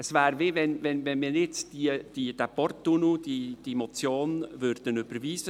Es wäre, als würde man jetzt die Motion zum Porttunnel überweisen.